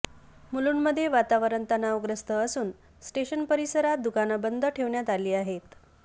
मुलुंडमध्ये वातावरण तणावग्रस्त असून स्टेशन परिसरात दुकानं बंद ठेवण्यात आली आहेत